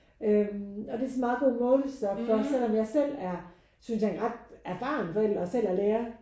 Øh og det er sådan en meget god målestok for selvom jeg selv er synes jeg en ret erfaren forældre og selv er lærer